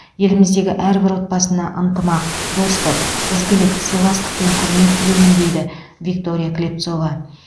еліміздегі әрбір отбасына ынтымақ достық ізгілік сыйластық пен құрмет тілеймін дейді виктория клепцова